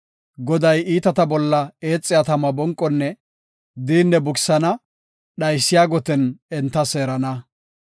Goday iitata bolla eexiya tama bonqonne diinne bukisana; dhaysiya goten enta seerana.